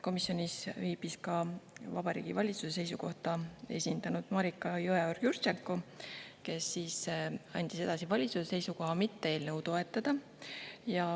Komisjonis viibis ka Vabariigi Valitsust esindanud Mariko Jõeorg-Jurtšenko, kes andis edasi valitsuse seisukoha mitte eelnõu toetada.